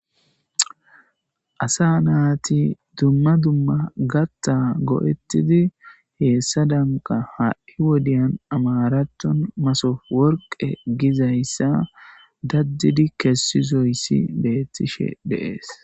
asa naati dumma dumma gatta go7ettidi heessa danka ha7i wodiyan amaraton masof worqe gizayssa daddidi kessizoyssi beettishe deees